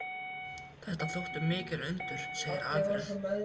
Þetta þóttu mikil undur, segir Alfreð.